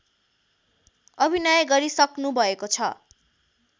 अभिनय गरिसक्नु भएको छ